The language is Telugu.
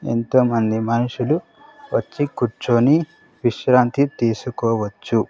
ఎంతో మంది మనుషులు వచ్చి కూర్చొని విశ్రాంతి తీసుకోవచ్చు.